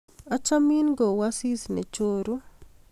achamin ko u asis ne choru